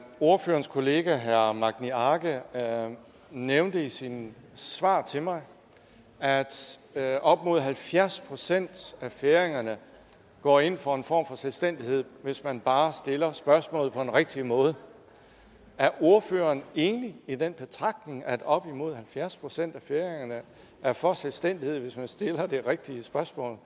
ordførerens kollega herre magni arge nævnte i sit svar til mig at at op imod halvfjerds procent af færingerne går ind for en form for selvstændighed hvis man bare stiller spørgsmålet på den rigtige måde er ordføreren enig i den betragtning at op imod halvfjerds procent af færingerne er for selvstændighed hvis man stiller det rigtige spørgsmål